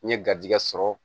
N ye garizigɛ sɔrɔ